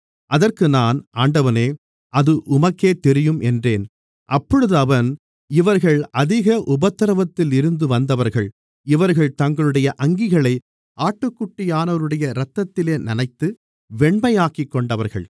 அதற்கு நான் ஆண்டவனே அது உமக்கே தெரியும் என்றேன் அப்பொழுது அவன் இவர்கள் அதிக உபத்திரவத்தில் இருந்து வந்தவர்கள் இவர்கள் தங்களுடைய அங்கிகளை ஆட்டுக்குட்டியானவருடைய இரத்தத்திலே நனைத்து வெண்மையாக்கிக்கொண்டவர்கள்